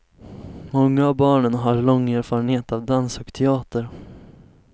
Många av barnen har lång erfarenhet av dans och teater.